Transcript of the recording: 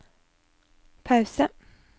pause